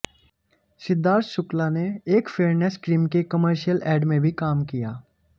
सिद्धार्थ शुक्ला ने एक fairness cream के कमर्शियल एड में भी काम किया